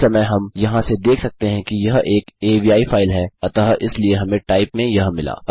इस समय हम यहाँ से देख सकते हैं कि यह एक अवि फाइल है अतः इसलिए हमें टाइप में यह मिला